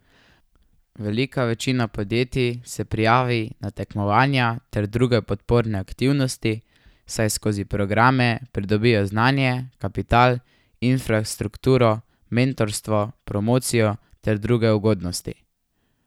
Velika večina podjetij se prijavi na tekmovanja ter druge podporne aktivnosti, saj skozi programe pridobijo znanje, kapital, infrastrukturo, mentorstvo, promocijo ter druge ugodnosti.